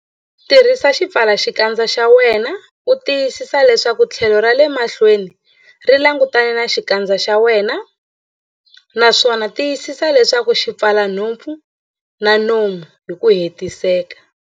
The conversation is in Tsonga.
Tirhisa xipfalaxikandza xa wena u tiyisisa leswaku tlhelo ra le mahlweni ri langutane na xikandza xa wena, naswona tiyisisa leswaku xi pfala nhompfu na nomo hi ku hetiseka.